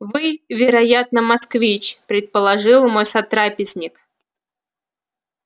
вы вероятно москвич предположил мой сотрапезник